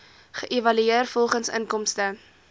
geëvalueer volgens inkomste